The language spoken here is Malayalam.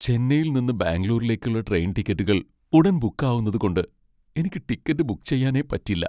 ചെന്നൈയിൽ നിന്ന് ബാംഗ്ലൂരിലേക്കുള്ള ട്രെയിൻ ടിക്കറ്റുകൾ ഉടൻ ബുക്ക് ആവുന്നതുകൊണ്ട് എനിക്ക് ടിക്കറ്റ് ബുക്ക് ചെയ്യാനേ പറ്റില്ല.